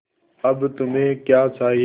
अब तुम्हें क्या चाहिए